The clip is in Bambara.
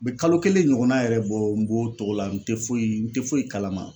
Be kalo kelen ɲɔgɔnna yɛrɛ bɔ n b'o togo la n te foyi n te foyi kalama.